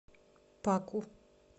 паку